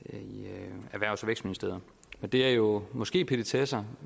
vækstministeriet det er jo måske petitesser